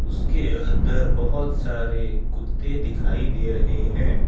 उसके अंदर बहोत सारे कुत्ते दिखाई दे रहें हैं।